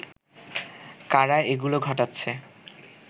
কারা এগুলো ঘটাচ্ছে